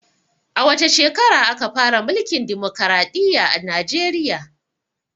A wace shekara aka fara mulkin dimokraɗiya a najeriya?